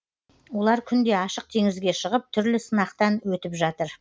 олар күнде ашық теңізге шығып түрлі сынақтан өтіп жатыр